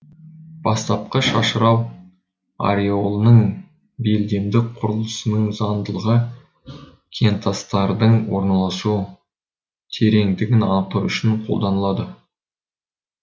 бастапқы шашырау ореолының белдемдік құрылысының заңдылығы кентастардың орналасу тереңдігін анықтау үшін қолданылады